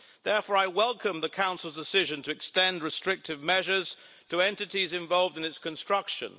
Therefore, I welcome the Council's decision to extend restrictive measures to entities involved in its construction.